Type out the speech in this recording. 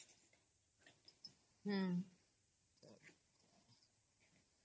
noise